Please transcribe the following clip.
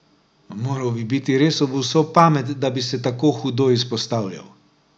Moral bi biti res ob vso pamet, da bi se tako hudo izpostavljal.